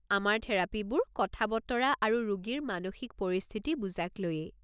আমাৰ থেৰাপীবোৰ কথা-বতৰা আৰু ৰোগীৰ মানসিক পৰিস্থিতি বুজাক লৈয়েই।